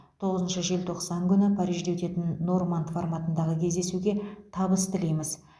тоғызыншы желтоқсан күні парижде өтетін норманд форматындағы кездесуге табыс тілейміз